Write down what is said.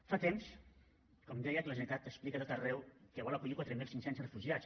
fa temps com deia que la generalitat explica a tot arreu que vol acollir quatre mil cinc cents refugiats